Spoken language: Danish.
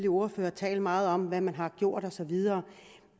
ordførere tale meget om hvad man har gjort osv